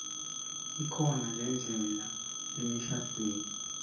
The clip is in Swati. ikhona ledlalwa emishadvweni